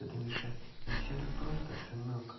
это мишань не всё так просто сынок